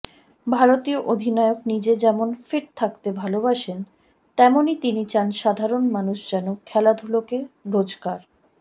ভারতীয় অধিনায়ক নিজে যেমন ফিট থাকতে ভালবাসেন তেমনই তিনি চান সাধারণ মানুষ যেন খেলাধুলোকে রোজকার